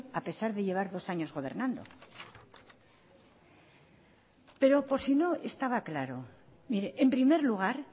a pesar de llevar dos años gobernando pero por si no estaba claro mire en primer lugar